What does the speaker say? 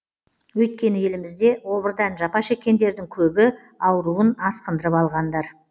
өйткені елімізде обырдан жапа шеккендердің көбі ауруын асқындырып алғандар